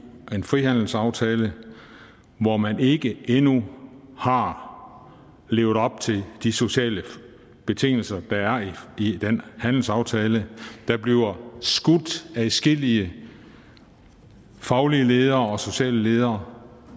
en frihandelsaftale hvor man ikke endnu har levet op til de sociale betingelser der er i den handelsaftale adskillige faglige ledere og sociale ledere